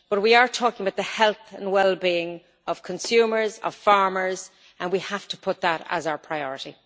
But we are talking about the health and well being of consumers and of farmers, and we have to put that as our priority.